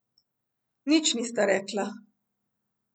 Nič nista rekla.